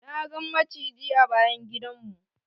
Na gan maciji a bayan gidan mu.